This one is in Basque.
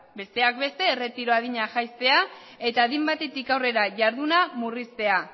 besteak beste erretiro adina jaistea eta adin batetik aurrera jarduna murriztea